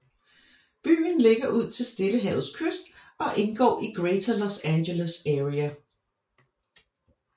Byen ligger ud til Stillehavets kyst og indgår i Greater Los Angeles Area